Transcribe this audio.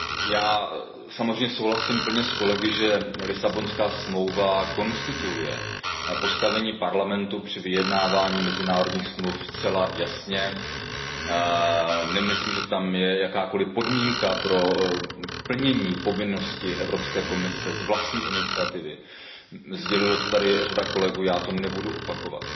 Já samozřejmě souhlasím plně s kolegy, že Lisabonská smlouva konstituuje postavení Parlamentu při vyjednávání mezinárodních dohod zcela jasně. Nemyslím, že tam je jakákoliv podmínka pro plnění povinnosti Evropské komise z vlastní iniciativy, sdělila to tady řada kolegů, já to nebudu opakovat.